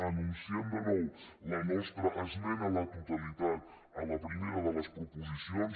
anunciem de nou la nostra esmena a la totalitat a la primera de les proposicions